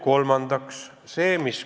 Kolmandaks.